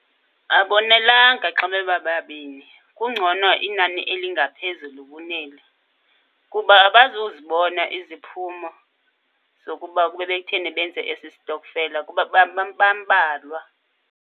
Abonelanga xa bebababini. Kungcono inani elingaphezulu kuneli kuba abazuzibona iziphumo zokuba kube bekutheni benze esi stokfela kuba bambalwa.